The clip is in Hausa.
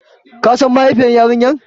Ka San mahaifin yarinyar?